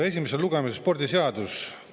Esimesel lugemisel on spordiseaduse.